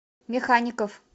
механикоф